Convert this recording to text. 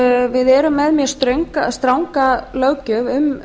við erum með mjög stranga löggjöf um